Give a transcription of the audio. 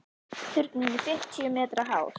Turninn er fimmtíu metra hár.